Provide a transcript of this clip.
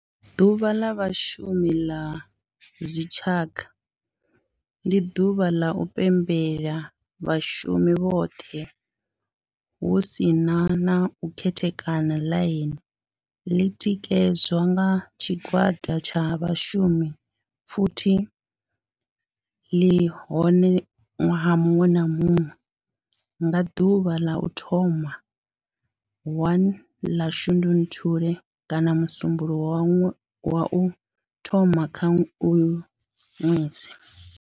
Ḓuvha la Vhashumi la dzi tshaka, ndi duvha ḽa u pembela vhashumi vhothe hu si na u khethekanya ḽine ḽi tikedzwa nga tshigwada tsha vhashumi futhi li vha hone nwaha munwe na munwe nga duvha ḽa u thoma 1 ḽa Shundunthule kana musumbulowo wa u thoma kha uyo nwedzi.